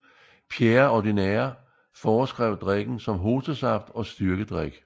Pierre Ordinaire foreskrev drikken som hostesaft og styrkedrik